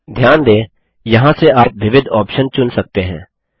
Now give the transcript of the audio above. ध्यान दें यहाँ से आप विविध ऑप्शन चुन सकते हैं